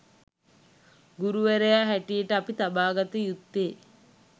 ගුරුවරයා හැටියට අපි තබාගත යුත්තේ